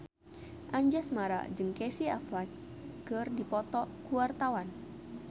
Anjasmara jeung Casey Affleck keur dipoto ku wartawan